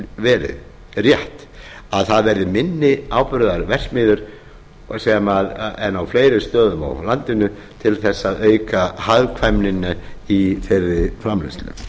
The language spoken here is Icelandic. verið rétt að það verði minni áburðarverksmiðjur en á fleiri stöðum á landinu til þess að auka hagkvæmnina í þeirri framleiðslu